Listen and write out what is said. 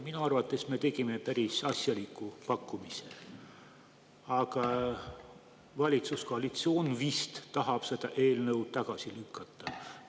Minu arvates me tegime päris asjaliku pakkumise, aga valitsuskoalitsioon vist tahab seda eelnõu tagasi lükata.